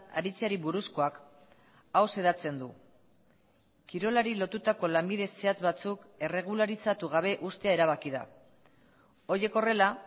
aritzeari buruzkoak hau xedatzen du kirolari lotutako lanbide zehatz batzuk erregularizatu gabe uztea erabaki da horiek horrela